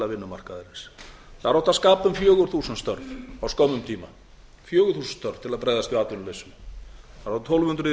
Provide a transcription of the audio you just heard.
vinnumarkaðarins þar átti að skapa um fjögur þúsund störf á skömmum tíma fjögur þúsund störf til að bregðast við atvinnuleysinu þar